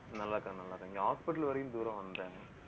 நல்லா இருகாங்க நல்லா இருகாங்க. இங்க hospital வரைக்கும் தூரம் வந்தேன்